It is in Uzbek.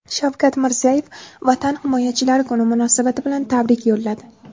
Shavkat Mirziyoyev Vatan himoyachilari kuni munosabati bilan tabrik yo‘lladi .